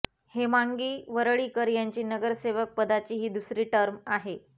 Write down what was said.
हेमांगी वरळीकर यांची नगरसेवक पदाची ही दुसरी टर्म आहे